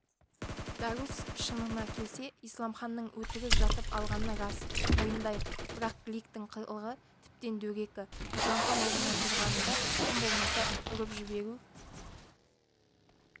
дарус шынына келсе исламханның өтірік жатып алғаны рас мойындайық бірақ гликтің қылығы тіптен дөрекі исламхан орнынан тұрғанында тым болмаса ұрып жіберу